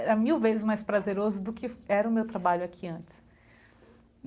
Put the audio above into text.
Era mil vezes mais prazeroso do que era o meu trabalho aqui antes.